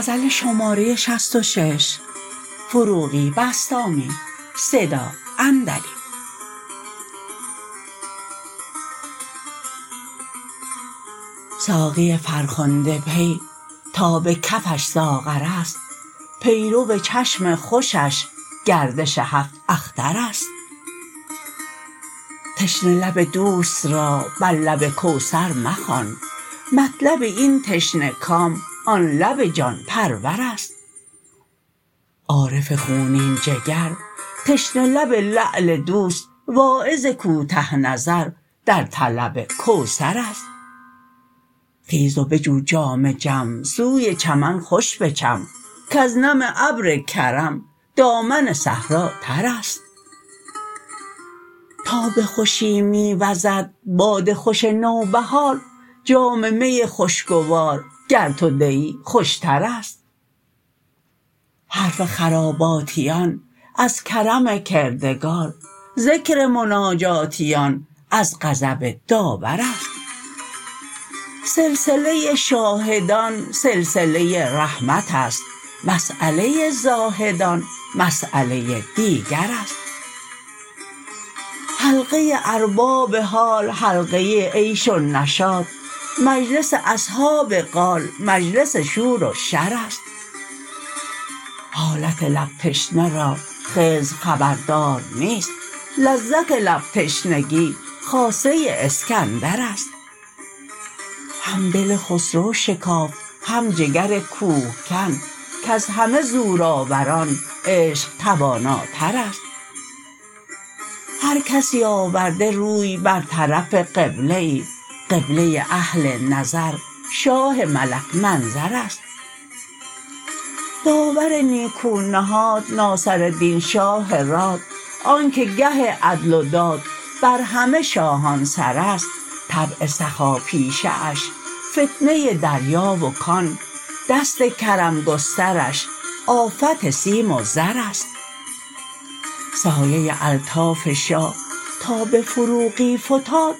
ساقی فرخنده پی تا به کفش ساغر است پیرو چشم خوشش گردش هفت اختر است تشنه لب دوست را بر لب کوثر مخوان مطلب این تشنه کام آن لب جان پرور است عارف خونین جگر تشنه لب لعل دوست واعظ کوته نظر در طلب کوثر است خیز و بجو جام جم سوی چمن خوش بچم کز نم ابر کرم دامن صحرا تر است تا به خوشی می وزد باد خوش نوبهار جام می خوش گوار گر تو دهی خوش تر است حرف خراباتیان از کرم کردگار ذکر مناجاتیان از غضب داور است سلسله شاهدان سلسله رحمت است مساله زاهدان مساله دیگر است حلقه ارباب حال حلقه عیش و نشاط مجلس اصحاب قال مجلس شور و شر است حالت لب تشنه را خضر خبردار نیست لذت لب تشنگی خاصه اسکندر است هم دل خسرو شکافت هم جگر کوه کن کز همه زورآوران عشق تواناتر است هر کسی آورده روی بر طرف قبله ای قبله اهل نظر شاه ملک منظر است داور نیکو نهاد ناصردین شاه راد آن که گه عدل و دادبر همه شاهان سر است طبع سخاپیشه اش فتنه دریا و کان دست کرم گسترش آفت سیم و زر است سایه الطاف شاه تا به فروغی فتاد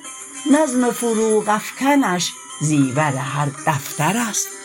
نظم فروغ افکنش زیور هر دفتر است